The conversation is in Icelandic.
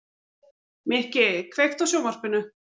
Mikki, kveiktu á sjónvarpinu.